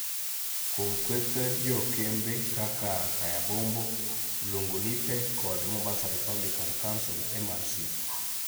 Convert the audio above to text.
kuom kweth jokembe kaka Kaya Bombo, Mlungu Nipe kod Mombasa Republican Council (MRC).